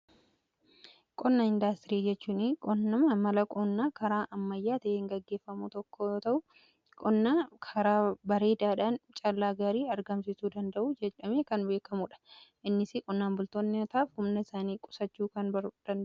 Qonna indaastirii jechuun qonnam mala qoonnaa karaa ammayyaa ta'een gaggeeffamuu tokko ta'uun qonnaa karaa bareedaadhaan callaa gaarii argamsisuu danda'u jedhamee kan beekamuudha. Innis qonnaan bultootaaf humnasaanii qusachuun kan danda'uudha.